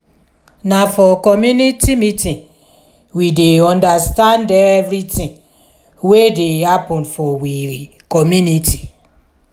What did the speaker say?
na for community meeting we dey understand everytin wey dey happen for we community.